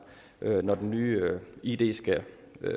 når det nye id skal